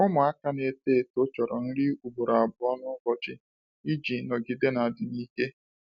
Ụmụaka na-eto eto chọrọ nri ugboro abụọ n'ụbọchị iji nọgide na adịm ike.